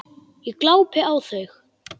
Ég glápi á þau.